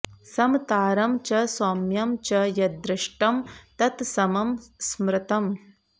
समतारं च सौम्यं च यद्दृष्टं तत् समं स्मृतम्